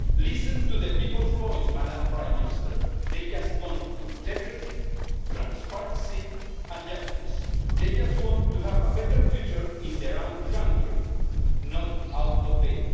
Listen to the people's voice, Prime Minister. They just want integrity, transparency and justice. They just want to have a better future in their own country not outside